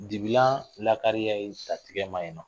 Dibilan lakariya ye tantɛgɛma ye